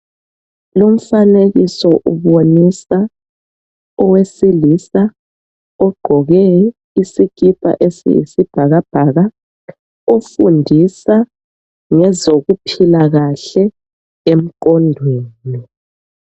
Lumfanekiso ubonisa owesilisa ogqoke isikipa esiyisi bhakabhaka ofundisa ngezokuphila kahle emqondweni .